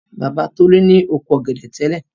Bàbá Tolú ni oko ọ̀gẹ̀dẹ̀ tẹ́lẹ̀.